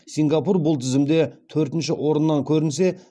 сингапур бұл тізімде төртінші орыннан көрінсе